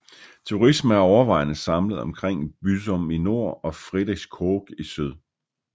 Turisme er overvejende samlet omkring Büsum i nord og Friedrichskoog i syd